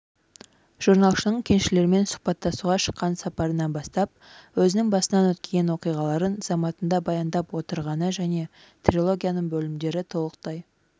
жорналшының кеншілермен сұхбаттасуға шыққан сапарынан бастап өзінің басынан өткен оқиғаларын заматында баяндап отырғаны және трилогияның бөлімдері толықтай